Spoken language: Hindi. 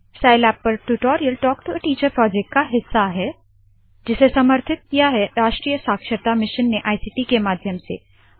साइलैब पर tutorial talk to a teacher project का हिस्सा है जिसे समर्थित किया है राष्ट्रीय साक्षरता मिशन ने इक्ट के माध्यम से